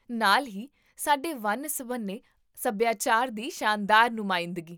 ਨਾਲ ਹੀ, ਸਾਡੇ ਵੰਨ ਸੁਵੰਨੇ ਸਭਿਆਚਾਰ ਦੀ ਸ਼ਾਨਦਾਰ ਨੁਮਾਇੰਦਗੀ